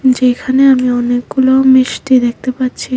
যেখানে আমি অনেকগুলো মিষ্টি দেখতে পাচ্ছি।